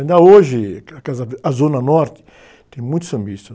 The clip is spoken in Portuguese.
Ainda hoje, a Casa Ver, a zona norte tem muitos sambistas.